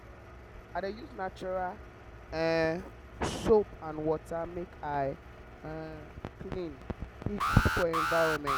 um i dey use natural um soap and water make i um clean e good for environment.